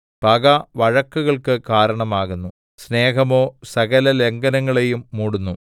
പക വഴക്കുകൾക്ക് കാരണം ആകുന്നു സ്നേഹമോ സകല ലംഘനങ്ങളെയും മൂടുന്നു